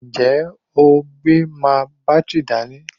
Ǹjẹ́ o gbé máa bátìrì dání?